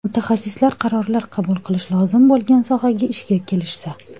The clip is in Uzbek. Mutaxassislar qarorlar qabul qilish lozim bo‘lgan sohaga ishga kelishsa.